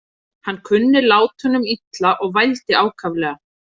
Hann kunni látunum illa og vældi ákaflega.